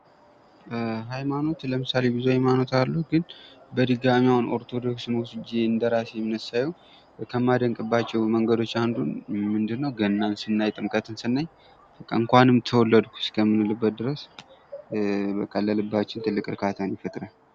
ሐይማኖት ለምሳሌ ብዙ ሐይማኖት አሉ። ግን በድጋሚ አሁን ኦርቶዶክስን ወስጀ እንደራሴ እምነት ሳየው ከማደንቅባቸው መንገዶች አንዱ ምንድ ነው ገናን ስናይ ጥምቀትን ስናይ በቃ እንኳንም ተወለድኩ እስከምንልበት ድረስ በቃ ለልባችን ትልቅ እርካታን ይፈጥራል።